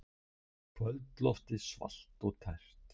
Kvöldloftið svalt og tært.